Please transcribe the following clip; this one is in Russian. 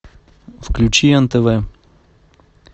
включи нтв